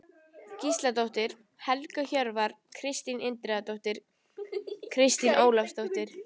Gísladóttir, Helga Hjörvar, Kristín Indriðadóttir, Kristín Ólafsdóttir